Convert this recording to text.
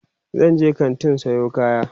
zanje kantin Sayo kaya